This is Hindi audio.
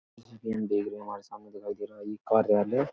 जैसा कि हम देख रहे है हमारे सामने दिखाई दे रहा है ये कार्यालय --